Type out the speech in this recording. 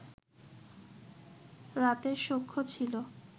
রাতের শখ্য ছিল